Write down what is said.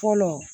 Fɔlɔ